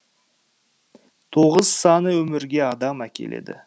тоғыз саны өмірге адам әкеледі